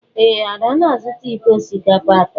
Ee, Ada na-azụta iko osikapa atọ.